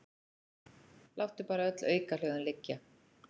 Láttu bara öll aukahljóðin liggja.